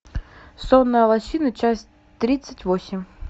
сонная лощина часть тридцать восемь